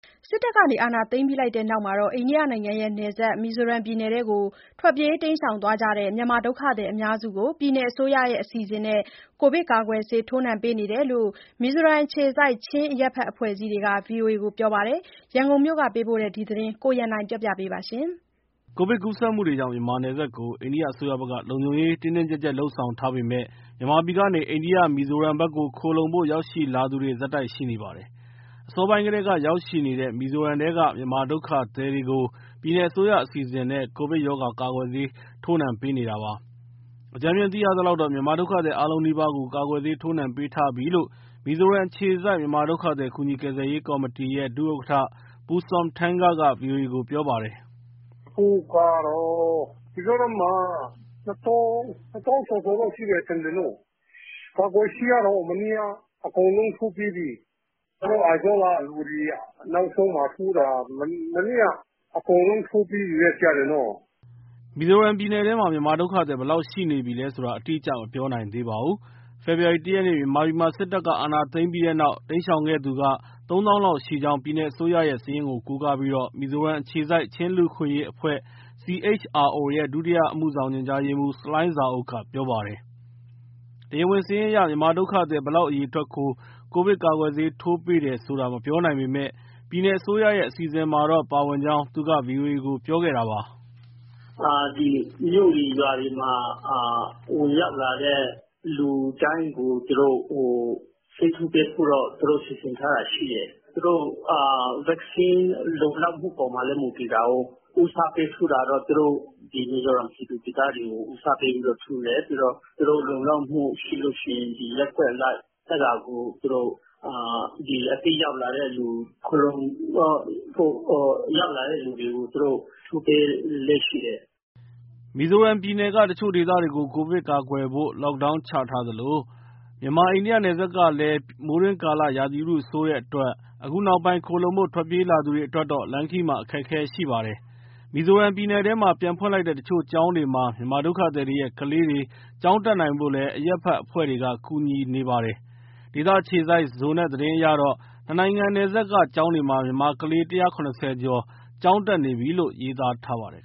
စစ်တပ်က အာဏာသိမ်းပြီးနောက်ပိုင်း အိန္ဒိယနယ်စပ် မီဇိုရမ်ပြည်နယ်ထဲ ထွက်ပြေးတိမ်းရှောင် သွားတဲ့ မြန်မာဒုက္ခသည် အများစုကို ပြည်နယ်အစိုးရ အစီအစဉ်နဲ့ ကိုဗစ်ကာကွယ်ဆေး ထိုးနှံပေးထားကြောင်း မီဇိုရမ်အခြေစိုက် ချင်းအရပ်ဘက်အဖွဲ့အစည်းတွေက ဗွီအိုအေကို ပြောပါတယ်။ ရန်ကုန်မြို့က ပေးပို့တဲ့ ဒီသတင်းကိုကိုရန်နိုင်က တင်ပြပေးထားပါတယ်။ ကိုဗစ်ကူးစက်မှုတွေကြောင့် မြန်မာနယ်စပ်ကို အိန္ဒိယအစိုးရဘက်က လုံခြုံရေးတင်းတင်းကျပ်ကျပ် လုပ်ဆောင်ထားပေမဲ့ မြန်မာပြည်ကနေ အိန္ဒိယ မီဇိုရမ်ဘက်ခိုလှုံဖို့ ရောက်ရှိလာသူတွေ ဆက်တိုက်ရှိနေပါတယ်။ အစောပိုင်းကတည်းက ရောက်ရှိနေတဲ့ မီဇိုရမ်ထဲက မြန်မာဒုက္ခသည်တွေကို ပြည်နယ်အစိုးရအစီအစဉ်နဲ့ ကိုဗစ်ရောဂါ ကာကွယ်ဆေးထိုးနှံ့ပေးနေတာပါ။ အကြမ်းဖျင်းသိထားရသလောက် မြန်မာဒုက္ခသည် အားလုံးနီးပါးကို ကာကွယ်ဆေး ထိုးနှံပေးထားပြီလို့ မီဇိုရမ်အခြေစိုက် မြန်မာဒုက္ခသည် ကူညီကယ်ဆယ်ရေး ကော်မတီရဲ ဒုဥက္ကဋ္ဌ Pu. Sawm Than Ga က ဗွီအိုအေကို ပြောပါတယ်။ “အခုကတော့ မီဇိုရမ်မှာ ၂၀,၀၀၀၊ ၂ သောင်းကျော်ကျော်တော့ ရှိမယ်ထင်တယ်နော်၊ ကာကွယ်ဆေးကတော့ မနေ့က အကုန်လုံး ထိုးပြီးပြီ။ ကျနော်တို့ Aizawl ( အိုင်ဇော) က သူတွေက နောက်ဆုံးမှာထိုးတာ မနေ့က။ အကုန်လုံး ထိုးပြီးကြပြီနော့။” မီဇိုရမ်ပြည်နယ်ထဲမှာ မြန်မာဒုက္ခသည် ဘယ်လောက်ရှိနေပြီလဲဆိုတာ အတိအကျ မပြောနိုင်သေးပါဘူး။ ဖေဖော်ဝါရီ ၁ ရက်၊ မြန်မာပြည်မှာ စစ်တပ်က အာဏာသိမ်းပြီးနောက် တိမ်းရှောင်ခဲ့သူက ၃၀,၀၀၀ လောက်ရှိကြောင်း ပြည်နယ်အစိုးရရဲ့ စာရင်းကိုကိုးကားပြီး မီဇိုရမ်အခြေစိုက် ချင်းလူ့အခွင့်အရေအဖွဲ့ CHRO ရဲ့ ဒုတိယအမှုဆောင် ညွှန်ကြားရေးမှူး ဆလိုင်းဇာအုပ်က ပြောပါတယ်။ တရားဝင်စာရင်းအရ မြန်မာဒုက္ခသည် ဘယ်လောက်အရေအတွက်ကို ကိုဗစ်ကာကွယ်ဆေး ထိုးပေးတယ်ဆိုတာ မပြောနိုင်ပေမဲ့ ပြည်နယ်အစိုးရရဲ့ အစီအစဉ်မှာတော့ ပါဝင်ကြောင်း သူက ဗွီအိုအေကို ပြောခဲ့တာပါ။ “သူတို့ ဒီမြို့တွေ ရွာတွေမှာ ဝင်ရောက်လာတဲ့သူတိုင်းကို့ ဆေးထိုးပေးဖို့တော့ သူတို့စီစဉ်ထားတာရှိတယ်။ သူတို့ ကာကွယ်ဆေး လုံလောက်မှုအပေါ်မှာလည်း မူတည်တာကိုး။ ဦးစားပေးထိုးတာကတော့ သူတို့မီဇိုရမ် ပြည်သူ၊ ပြည်သားတွေကို ဦးစားပေးပြီးထိုးတယ်။ ပြီးတော့ သူတို့လုံလောက်မှု ရှိလို့ရှိရင် ရပ်ကွက်အလိုက် အဲဒါကိုသူတို့ အသစ်ရောက်လာတဲ့သူ ခိုလှုံဖို့ရောက်လာတဲ့ သူတွေကို သူတို့ ထိုးပေးလေ့ရှိတယ်။” မီဇိုရမ်ပြည်နယ်က တချို့ဒေသတွေကို ကိုဗစ်ကာကွယ်ဖို့ lockdown ချထားသလို မြန်မာ-အိန္ဒိယ နယ်စပ်ကလည်း မိုးတွင်းကာလ ရာသီဥတုဆိုးတဲ့အတွက် အခုနောက်ပိုင်း ခိုလှုံဖို့ ထွက်ပြေးလာသူတွေ အတွက်တော့ လမ်းခရီးမှာ အခက်အခဲရှိပါတယ်။ မီဇိုရမ်ပြည်နယ်ထဲမှာ ပြန်ဖွင့်လိုက်တဲ့ တချို့ကျောင်းတွေမှာ မြန်မာဒုက္ခသည်တွေရဲ့ ကလေးတွေ ကျောင်းတက်နိုင်ဖို့လည်း အရပ်ဘက်အဖွဲ့တွေက ကူညီနေပါတယ်။ ဒေသအခြေစိုက် Zonet သတင်းအရတော့ နှစ်နိုင်ငံ နယ်စပ်က ကျောင်းတွေမှာ မြန်မာကလေး ၁၇၀ ကျော် ကျောင်းတက်နေပြီလို့ ရေးသားထားပါတယ်